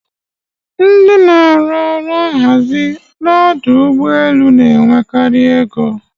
Ndị n'arụ ọrụ nhazi ọdụ ụgbọ elu n' enwekarị ego.